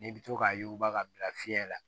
N'i bɛ to k'a yuguba k'a bila fiɲɛ la